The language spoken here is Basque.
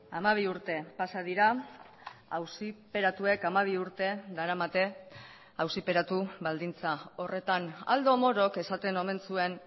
hamabi urte pasa dira auziperatuek hamabi urte daramate auziperatu baldintza horretan aldo morok esaten omen zuen